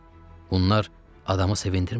Bunlar adamı sevindirmir axı.